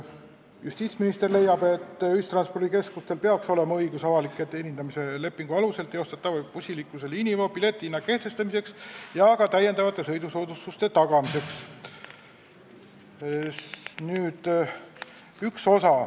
Justiitsminister leiab, et ühistranspordikeskustel peaks olema õigus avaliku teenindamise lepingu alusel teostatava bussiliikluse liiniveo piletihinna kehtestamiseks ja ka täiendava sõidusoodustuse tagamiseks.